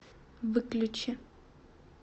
выключи